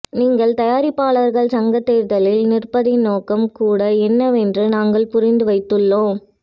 நீங்கள் தயாரிப்பாளர்கள் சங்க தேர்தலில் நிற்பதின் நோக்கம் கூட என்னவென்று நாங்கள் புரிந்து வைத்துள்ளோம்